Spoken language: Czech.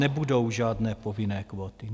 Nebudou žádné povinné kvóty.